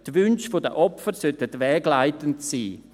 Die Wünsche der Opfer sollten wegleitend sein.